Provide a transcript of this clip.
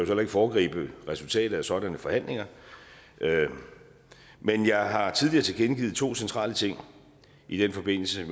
heller ikke foregribe resultatet af sådanne forhandlinger men jeg har tidligere tilkendegivet to centrale ting i den forbindelse